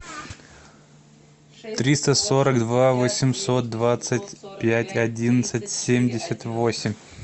триста сорок два восемьсот двадцать пять одиннадцать семьдесят восемь